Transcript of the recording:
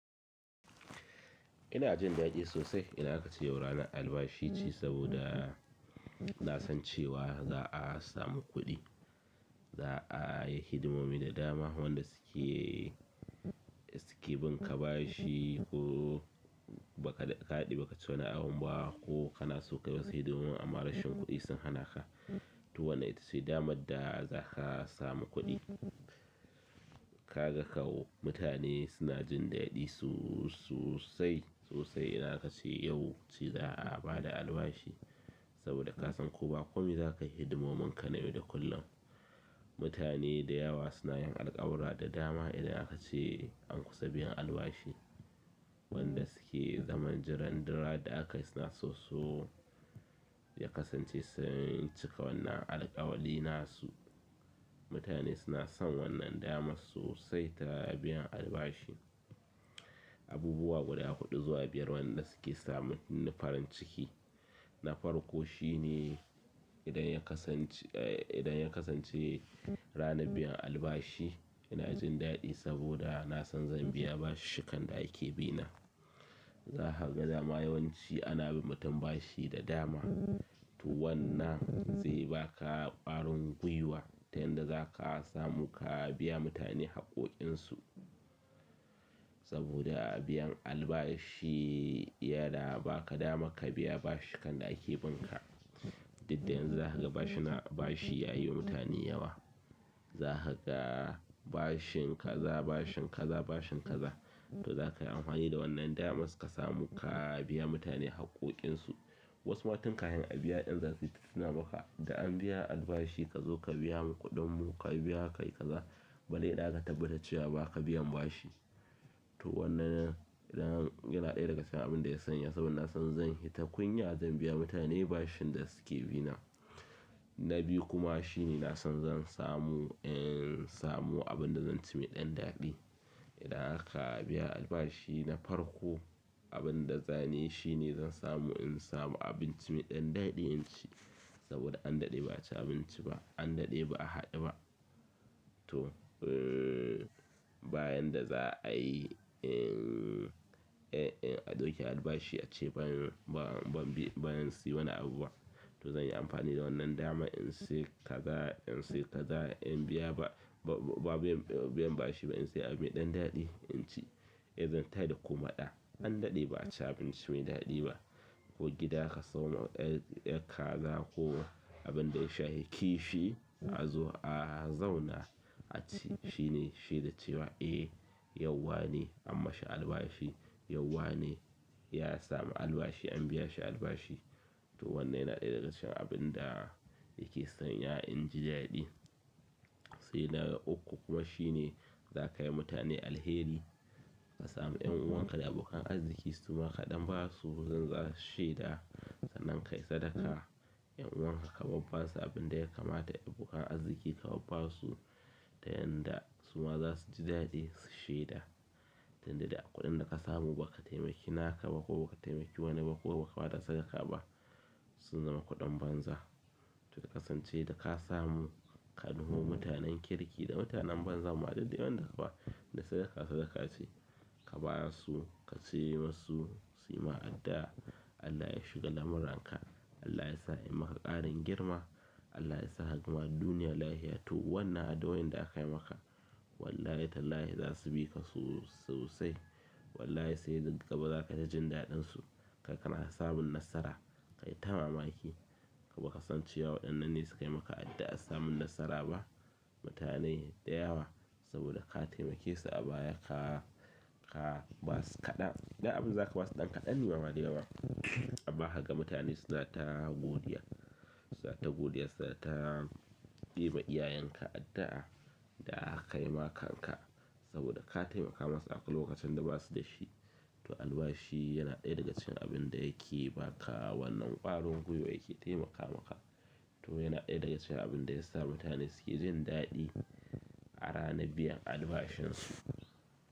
Ina jin daɗi sosai idan aka ce yau ranar albashi ce saboda nasan cewa za'a samu kuɗi za ayi hidimomi da dama wanda suke binka bashi, ko ka daɗe baka ci wani abun ba ko kana so kayi wasu hidimonin amman rashin kuɗi sun hanaka to wannan ita ce damar da za ka samu kuɗi. Ka ga kau mutane suna jin daɗi su, sosai, sosai idan aka ce yau ci za a ba da albashi saboda ka san ko ba komi za ka yi hidimomin ka na yau da kullum. Mutane da yawa suna yin alkawura da dama idan aka ce an kusa biyan albashi. Wanda suke zaman jiran duk ran da aka yi suna so so ya kasance sun cika wannan alkawali na su. Mutane suna son wannan dama sosai ta biyan albashi. Abubuwa guda huɗu zuwa biyar wanda suke samun nufarin ciki. Nafarko shine idan ya kasance, eh, idan ya kasance rana biyan albashi ina jin ɗaɗi saboda na san zan biya bashi kan da ake bi na. Zaka dama yawanci ana bin mutum bashi da dama to wannan zai ba ka ƙarin gwuiwa ta yanda za ka samu ka biya mutane haƙƙoƙin su. Saboda a biyan albashi yana ba ka dama ka biya bashi kan da ake bin ka. Didda yanzu za ka ga bashina bashi ya yi wa mutane yawa. Za ka ga bashin kaza, bashin kaza, bashin kaza. To za ka yi anhwani da wannan dama suka samu ka biya mutane haƙƙoƙin su. Wasu ma tun kahin a biya ɗin zasu tai tuna maka, da an albashi ka zo ka biya mu kuɗin mu, ka biya kai kaza. Bare idan aka tabbatar cewa ba ka biyan bashi. To wannan yana ɗaya daga cikin abin da ya sanya saboda na san zan hi ta kunya zan biya mutane bashin da suke bi na. Na biyu kuma shine na san zan samu in samu abin da zan ci mai ɗan daɗi. Idan haka a biya albashi na farko abin da zane shine zan samu in samu abin ci mai ɗan daɗi in ci saboda an daɗe ba a ci abinci ba, an daɗi ba a haɗu ba. To, bayan da za a yi, eh, eh, a ɗauke albashi ace ban, ban bi, ban si wani abu ba. To zan yi amfani da wannan dama in ci kaza, in ci kaza in biya ba, ba, ba biyan, biyan bashi ba in ci abin da ɗan daɗi in ci. Eh zan tayar da kuma ɗa. An daɗe ba a ci abinci mai daɗi ba. Ko gida ka samo, eh, eh kaza ko abin da ya shafi kifi a zo a zauna a ci. Shine shaida cewa eh yau wane anmashi albashi, yau wane ya samu albashi to wannan yana ɗaya daga cikin abin da yake sanya inji daɗi. He na ukku shine, zakai ma mutane alheri kasamu yan uwanka da abokan arziki suma ka dan basu zasu shaida sanan kai sadaka 'yan'uwan ka kabarbasu abin da ya kamata, abokan arziki kabarbasu ta yanda su ma za su ji daɗi su shaida. Tanda da kuɗin da ka samu ba ka taimaki naka ba ko ba ka taimaki wani ba ko ba ka ba da sadaka ba sun zama kuɗin banza. Tuƙa kasance da ka samu ka nuho mutanen kirki da mutanen banza. Duk dai wanda kaba da sadaka sadaka ce. Ka ba su, ka ce musu su yi ma adda, Allah ya shiga lamuran ka, Allah ya sa ya yi maka ƙarin girma, Allah ya sa hagama duniya lahia. To wannan addu'oin da akai maka to wallahi tallahi zasu bika sosai. Wallahi sai ga ba za kai ta jin daɗin su. Kaga ka na samun nasara. Kai ta mamaki. Ko ba ka san cewa waɗannan ne suka yi maka addu'ar samun nasara ba. Mutane da yawa saboda ka taimake su a baya ka, ka ba su kaɗan, da abin za ka ba su ɗan kaɗan ne ba ma da yawa. Amma haka mutane suna ta godiya. Suna ta godiya, suna ta yi ma iyayenka adda da akai ma kanka saboda ka taimaka masu a lokacin da ba su da shi. To albashi yana ɗaya daga cikin abin da yake ba ka wannan ƙarin gwiwa yake taimaka maka. To yana ɗaya daga cikin abin da ya sa mutane suke jin daɗi a rana biyan albashin su.